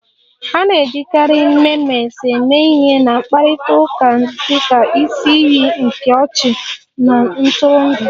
A na-ejikarị Memes eme ihe na mkparịta ụka dị ka isi iyi nke ọchị na ntụrụndụ